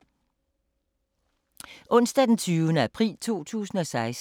Onsdag d. 20. april 2016